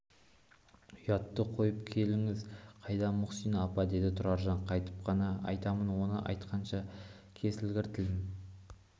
ұятты қойып келініңіз қайда мұхсина апа деді тұраржан қайтып қана айтамын оны айтқанша кесілгір тілім